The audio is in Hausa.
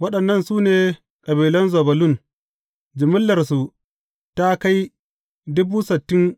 Waɗannan su ne kabilan Zebulun, jimillarsu ta kai